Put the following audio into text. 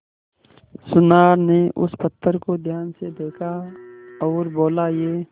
सुनार ने उस पत्थर को ध्यान से देखा और बोला ये